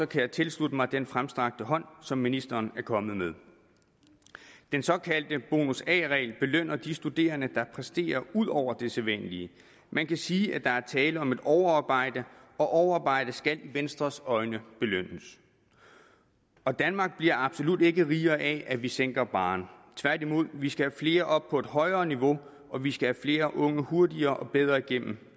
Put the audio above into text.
kan jeg tilslutte mig den fremstrakte hånd som ministeren er kommet med den såkaldte bonus a regel belønner de studerende der præsterer ud over det sædvanlige man kan sige at der er tale om et overarbejde og overarbejde skal i venstres øjne belønnes danmark bliver absolut ikke rigere af at vi sænker barren tværtimod vi skal have flere op på et højere niveau og vi skal have flere unge hurtigere og bedre igennem